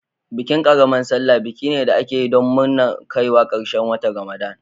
Bikin ƙaramar salla biki ne da ake yi don nurna kaiwa ƙarshen watan Ramadan.